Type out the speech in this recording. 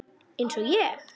Eins og ég?